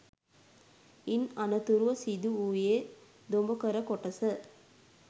ඉන් අනතුරුව සිදුවූයේ දොඹකර කොටස